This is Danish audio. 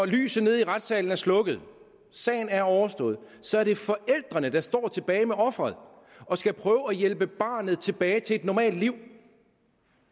lyset nede i retssalen er slukket og sagen er overstået så er det forældrene der står tilbage med offeret og skal prøve at hjælpe barnet tilbage til et normalt liv